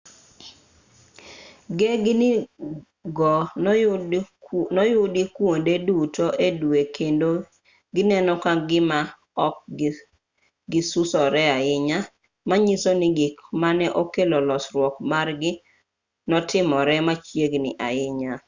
gengni go noyudi kuonde duto e dwe kendo gineno ka gima ok gisusore ahinya manyiso ni gik mane okelo losruok margi notimore machiegni ahinya